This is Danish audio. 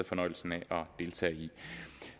fornøjelsen af at deltage i